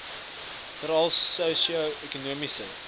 veral sosio ekonomies